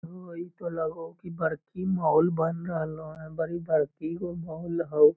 हे हो इ ते लगे हेय बड़की मॉल बन रहले हन बड़ी बड़की गो मॉल होअ।